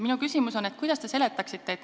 Minu küsimus ongi, kuidas te seda seletaksite.